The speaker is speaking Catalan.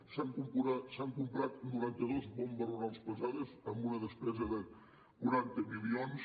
s’han comprat noranta dos bombes rurals pesades amb una despesa de quaranta milions